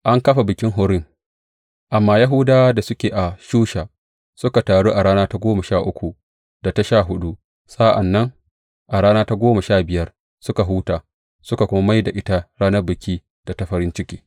An kafa bikin Furim Amma Yahudawan da suke a Shusha suka taru a rana ta goma sha uku da ta sha huɗu, sa’an nan a rana ta goma sha biyar suka huta, suka kuma mai da ita ranar biki da ta farin ciki.